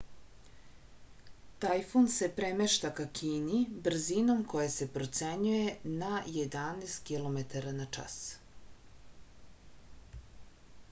tajfun se premešta ka kini brzinom koja se procenjuje na 11 km/h